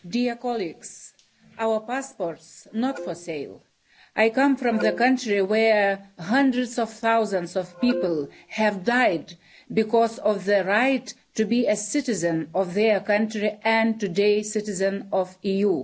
Mr President, our passports are not for sale. I come from a country where hundreds of thousands of people have died because of their right to be a citizen of their country and today, a citizen of the EU.